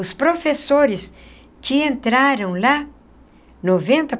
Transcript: Os professores que entraram lá, noventa.